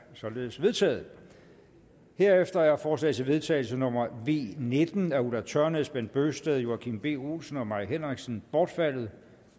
således vedtaget herefter er forslag til vedtagelse nummer v nitten af ulla tørnæs bent bøgsted joachim b olsen og mai henriksen bortfaldet